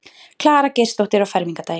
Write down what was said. Klara Geirsdóttir á fermingardaginn.